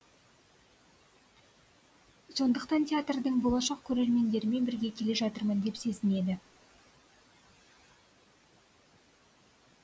сондықтан театрдың болашақ көрермендерімен бірге келе жатырмын деп сезінеді